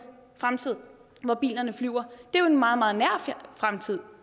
fremtid hvor bilerne flyver det er en meget meget nær fremtid